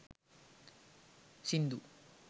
sindu